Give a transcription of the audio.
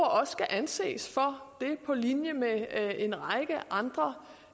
og også skal anses for det på linje med en række andre